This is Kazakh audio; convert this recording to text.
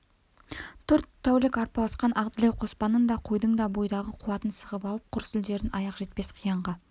төрт тәулік арпалысқан ақ дүлей қоспанның да қойдың да бойдағы қуатын сығып алып құр сүлдерін аяқ жетпес қиянға